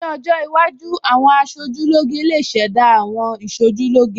Ní ọjọ́ iwájú, àwọn aṣojúlóge lè ṣẹ̀dá àwọn Ìṣojúlóge